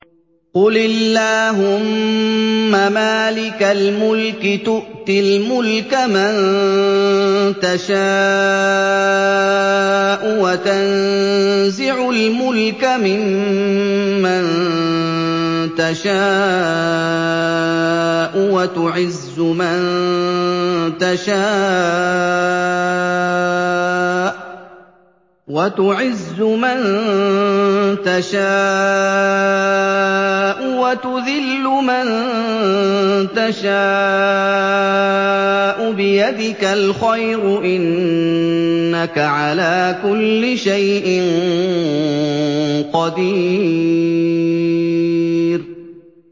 قُلِ اللَّهُمَّ مَالِكَ الْمُلْكِ تُؤْتِي الْمُلْكَ مَن تَشَاءُ وَتَنزِعُ الْمُلْكَ مِمَّن تَشَاءُ وَتُعِزُّ مَن تَشَاءُ وَتُذِلُّ مَن تَشَاءُ ۖ بِيَدِكَ الْخَيْرُ ۖ إِنَّكَ عَلَىٰ كُلِّ شَيْءٍ قَدِيرٌ